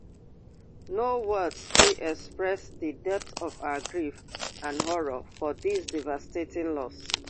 no words fit express di depth of our grief and horror for dis devastating loss